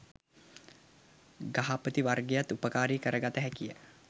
ගහපති වර්ගයත් උපකාරී කරගත හැකිය.